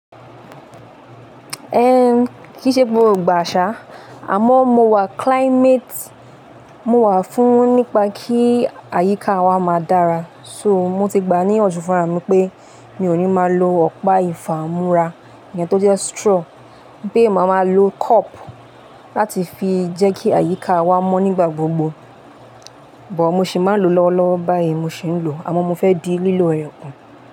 Ẹn kí ṣe gbóògbà àṣá, àmọ́ mo wà climate, mo wà fún nípa kí àyíká wa máa dára. So mo ti gbà ní yanju fun ra mi pé mi ò ní máa lo ọ̀pá ìfà múra, èèyàn tó jẹ́ straw, pé mo máa ma lo cup láti fi jẹ́ kí àyíká wa mọ́ nígbà gbogbo. Bọ̀ mo sì máa ń lo lọ́wọ́lọ́wọ́ báyìí mo sì ń lò, àmọ́ mo fẹ́ di lílò rẹ̀ kù.